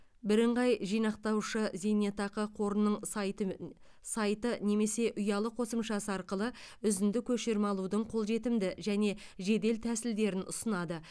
бірыңғай жинақтаушы зейнетақы қорының сайты сайты немесе ұялы қосымшасы арқылы үзінді көшірме алудың қолжетімді және жедел тәсілдерін ұсынады